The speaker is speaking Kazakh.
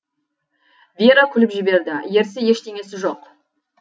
вера күліп жіберді ерсі ештеңесі жоқ